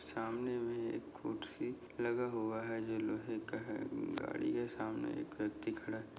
सामने मे एक कुर्सी लगा हुआ है जो लोहे का है गाड़ी है सामने एक व्यक्ति खड़ा है।